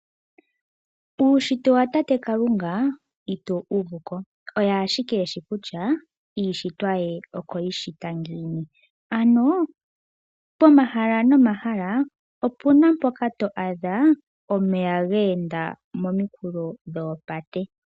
Uushitwe wa tate Kalunga ito wu uvu ko oye ashike e shi kutya iishitwa ye okwe yi shita ngiini. Ano pomahala nomahala opu na mpoka to a dha omeya ge enda mominkulo dhoopate.